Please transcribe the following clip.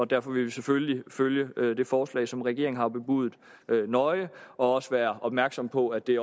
derfor vil vi selvfølgelig følge det forslag som regeringen har bebudet nøje og også være opmærksomme på at det